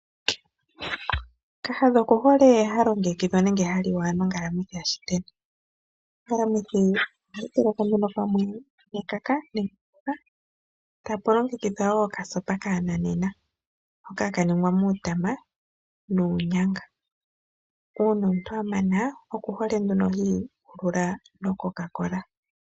Kahadha oku hole haliwa nenge halongekidhwa nonkalamwithi yashiteni. Onkalamwithi yashiteni ohayi tekelwa nduno nekaka etapu gwedhwa nduno okasopa kana nena. Uuna omuntu amana okuhole nduno hiikululs mococa cola.